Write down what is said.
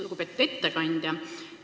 Lugupeetud ettekandja!